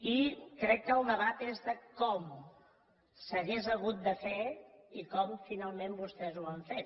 i crec que el debat és de com s’hauria hagut de fer i com finalment vostès ho van fer